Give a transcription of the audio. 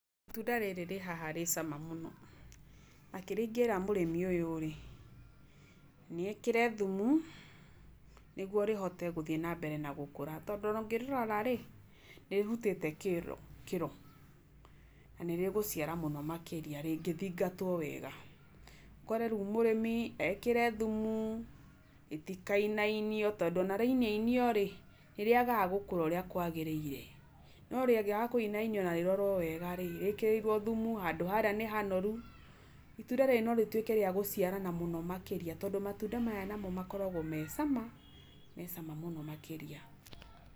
Itunda rĩrĩ rĩhaha rĩ cama mũno, na kĩrĩa ingĩra mũrĩmi ũyũ rĩ, nĩ ekĩre thumũ, nĩguo rĩhote gũthiĩ nambere na gũkũra. Tondũ ona ũngĩrĩrorarĩ, rĩtirutĩte kĩro. Nanĩĩrĩgũciara wega makĩria rĩngĩthingatwo wega. Ũkore riũ mũrĩmi ekĩre thumũ, rĩtikainainio, tondũ ona rĩainainio nĩriagaga gũkũra ũrĩa kwagĩrĩire. No ona rĩinainio no rĩage kũrorwo wega rĩ , rĩkĩrĩirwo thumu, handũ harĩa nĩhanoru, itunda rĩrĩ norĩkorwo rĩrĩagũciarana mũno makĩria, tondũ matunda maya namo makoragwo mecama, macama mũno makĩria.